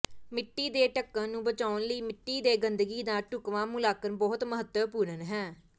ਮਿੱਟੀ ਦੇ ਢੱਕਣ ਨੂੰ ਬਚਾਉਣ ਲਈ ਮਿੱਟੀ ਦੇ ਗੰਦਗੀ ਦਾ ਢੁਕਵਾਂ ਮੁਲਾਂਕਣ ਬਹੁਤ ਮਹੱਤਵਪੂਰਨ ਹੈ